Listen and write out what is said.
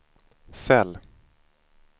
cell